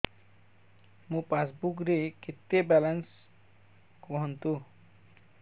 ମୋ ପାସବୁକ୍ ରେ କେତେ ବାଲାନ୍ସ କୁହନ୍ତୁ